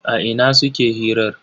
A ina suke hirar?